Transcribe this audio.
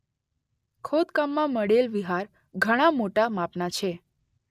ખોદકામમાં મળેલ વિહાર ઘણાં મોટા માપના છે